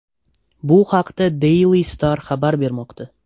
Bu haqda Daily Star xabar bermoqda .